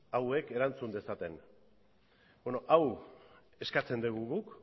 hauek erantzun dezaten beno hau eskatzen dugu guk